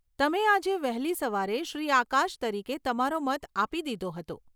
તમે આજે વહેલી સવારે શ્રી આકાશ તરીકે તમારો મત આપી દીધો હતો.